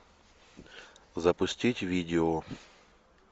запустить видео